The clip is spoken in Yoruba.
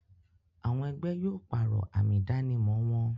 Àwọn ẹgbẹ́ yóò pàrọ̀ àmì ìdánimọ̀ wọn